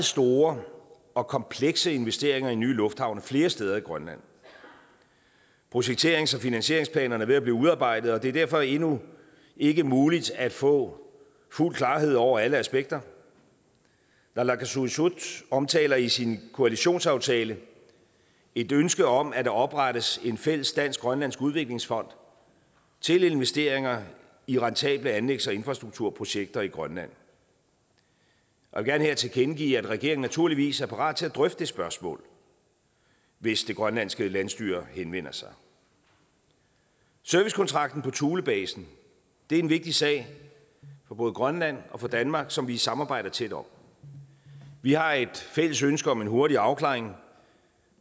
store og komplekse investeringer i nye lufthavne flere steder i grønland projekterings og finansieringsplanerne er ved at blive udarbejdet og det er derfor endnu ikke muligt at få fuld klarhed over alle aspekter naalakkersuisut omtaler i sin koalitionsaftale et ønske om at der oprettes en fælles dansk grønlandsk udviklingsfond til investeringer i rentable anlægs og infrastrukturprojekter i grønland og jeg vil her tilkendegive at regeringen naturligvis er parat til at drøfte det spørgsmål hvis det grønlandske landsstyre henvender sig servicekontrakten på thulebasen er en vigtig sag for både grønland og for danmark som vi samarbejder tæt om vi har et fælles ønske om en hurtig afklaring